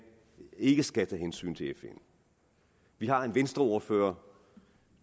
ikke skal tage hensyn til fn vi har en venstreordfører